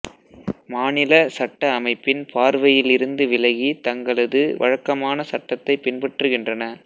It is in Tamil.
மாநில சட்ட அமைப்பின் பார்வையில் இருந்து விலகி தங்களது வழக்கமான சட்டத்தைப் பின்பற்றுகின்றன